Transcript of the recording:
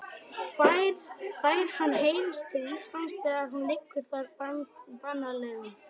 Fær hann heim til Íslands þegar hún liggur þar banaleguna.